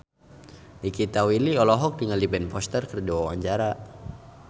Nikita Willy olohok ningali Ben Foster keur diwawancara